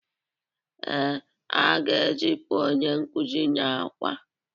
Ee, a ga-ezipu onye nkuzi n’Awka